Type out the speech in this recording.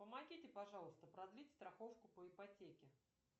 помогите пожалуйста продлить страховку по ипотеке